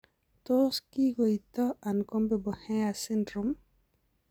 Tos kikoitoo uncombable hair syndrome?